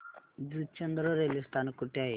Juchandra railway स्थानक कुठे आहे